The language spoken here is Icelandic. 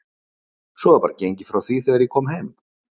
Svo var bara gengið frá því þegar ég kom heim?